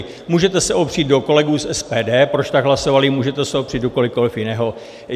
Můžete se opřít do kolegů z SPD, proč tak hlasovali, můžete se opřít do kohokoli jiného.